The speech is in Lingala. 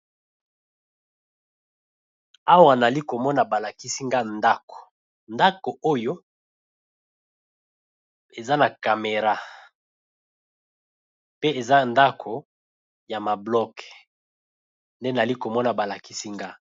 Awa nali ko mona ba lakisi nga ndako, ndako oyo eza na Camera pe eza ndako ya ma bloque nde nali ko mona ba lakisi nga .